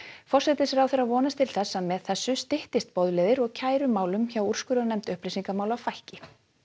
forsætisráðherra vonast til þess að með þessu styttist boðleiðir og kærumálum hjá úrskurðarnefnd upplýsingamála fækki